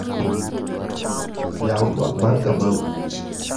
Yaw tuak mar Kamau.